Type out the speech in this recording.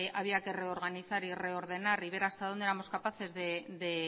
había que reorganizar y reordenar y ver hasta dónde éramos capaces de